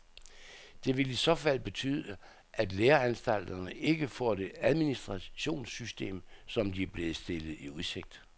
Det vil i så fald betyde, at læreanstalterne ikke får det administrationssystem, som de er blevet stillet i udsigt.